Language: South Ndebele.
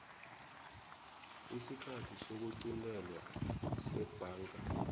isikhathi sokuqintelwa sebhanka